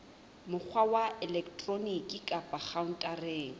mokgwa wa elektroniki kapa khaontareng